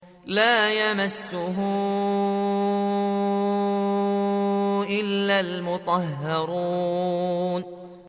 لَّا يَمَسُّهُ إِلَّا الْمُطَهَّرُونَ